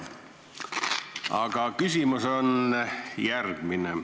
Aga küsimus on järgmine.